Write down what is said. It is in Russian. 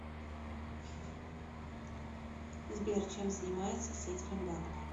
сбер чем занимается сетелем банк